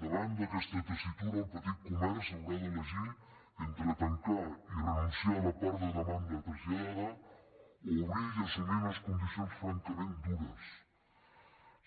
davant d’aquesta tessitura el petit comerç haurà d’elegir entre tancar i renunciar a la part de demanda traslladada o obrir i assumir unes condicions francament dures